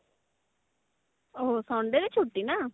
ଓ ହୋ Sunday ରେ ଛୁଟି ନା